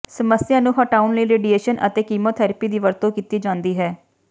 ਸਮੱਸਿਆ ਨੂੰ ਹਟਾਉਣ ਲਈ ਰੇਡੀਏਸ਼ਨ ਅਤੇ ਕੀਮੋਥੈਰੇਪੀ ਦੀ ਵਰਤੋਂ ਕੀਤੀ ਜਾਂਦੀ ਹੈ